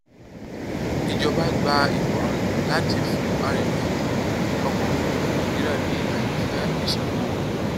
ìjọba gba ìmọràn láti fún arìnrìnàjò ọkọ òfuurufú nàìjíríà ní àyànfẹ ìsanwó